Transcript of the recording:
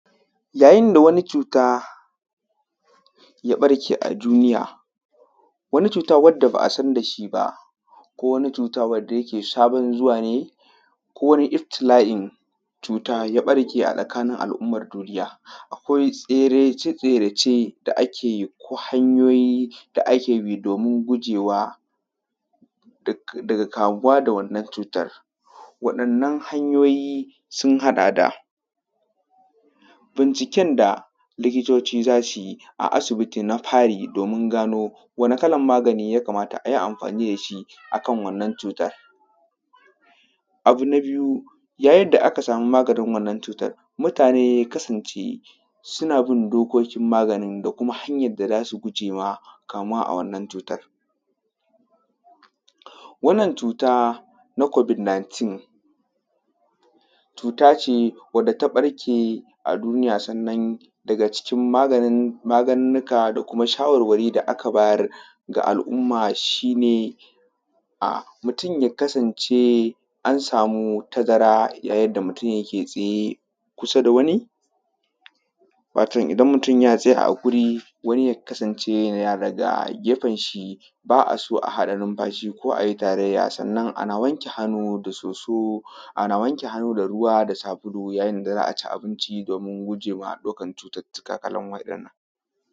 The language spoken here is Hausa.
Ya yin da wani cuta ya barke a duniya wani cuta wadda ba a san dashi ba ko wani cuta wadda yake sabon zuwa ne ko wani iftila’in cuta ya barke a tsakanin al’umman duniya. Akwai tserece tserece da ake ko hanyoyi da ake bi domin gujewa daga kamuwa da wannan cutan. Wadannan hanyoyi sun haɗaƙ da binciken da likitoci za su yi a asibiti na fari domin gano wani kalan magani ya kamata ayi amfani dashi akan wannan cutan? Abu na biyu ya yin da aka samu maganin wannan cutar mutane ya kasance suna bin dokokin maganin da kuma hanyar da zasu gujema kamuwaƙ a wannan cutan. Wannan cuta na kobid nitin cuta ce wacce ta ɓarke a duniya sannan daga cikin maganin magunguna da shawarwari da aka bayar ga al’umma shi ne mutum ya kasance an samu tazara ya yin da mutum yike tsaye kusa da wani, wato idan mutum ya tsaya a wuri wani ya kasance daga gefenshi ba a so a haɗa numfashi ko ayi taraiya sannan ana wanke hannu da soso ana wanke hannu da ruwa da sabulu a ya yin da za’a ci abincin domin gujema daukan cututuka kalan wa’innan.